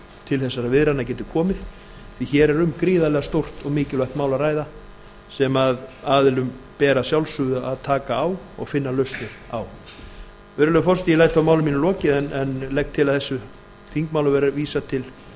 til þessarar viðræðna geti komið því hér er um gríðarlega stórt og mikilvægt mál að ræða sem aðilum ber að sjálfsögðu að taka á og finna lausnir á virðulegur forseti ég læt því máli mínu lokið en legg til að þessu þingmáli verði vísað til